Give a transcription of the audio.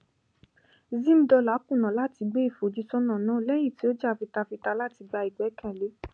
zimdollar kùnà láti gbé ìfojúsọnà náà lẹyìn tí ó jà fitafita láti gba ìgbẹkẹlé